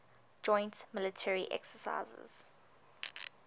joint military exercises